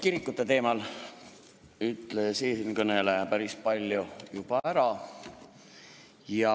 Kirikute teemal ütles eelkõneleja päris palju juba ära.